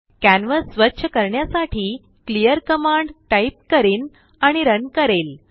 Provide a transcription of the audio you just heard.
canvas स्वच्छ करण्यासाठी clear command type करिनआणि रन करेल